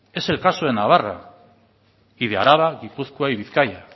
es el caso de navarra y de araba gipuzkoa y bizkaia